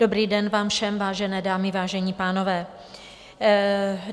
Dobrý den vám všem, vážené dámy, vážení pánové.